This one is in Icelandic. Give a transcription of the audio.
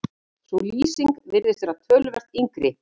Sú lýsing virðist vera töluvert yngri.